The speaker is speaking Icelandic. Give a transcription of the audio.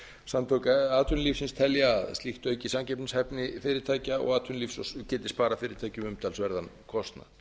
samtök atvinnulífsins telja að slíkt auki samkeppnishæfni fyrirtækja og atvinnulífs og geti sparað fyrirtækjum umtalsverðan kostnað